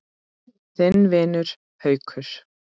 Þinn vinur, Haukur.